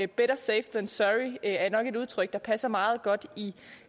better safe than sorry er nok et udtryk der passer meget godt i